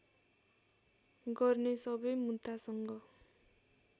गर्ने सबै मुद्दासँग